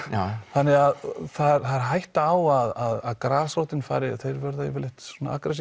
þannig það er hætta á að grasrótin fari og þeir verða yfirleitt svona agressívastir